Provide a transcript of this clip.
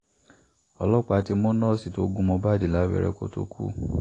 ọlọ́pàá ti mú nọ́ọ̀sì tó gún mohbad lábẹ́rẹ́ kó tóó kú